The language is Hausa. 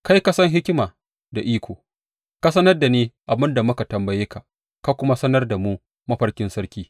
Kai ka san hikima da iko, ka sanar da ni abin da muka tambaye ka, ka kuma sanar da mu mafarkin sarki.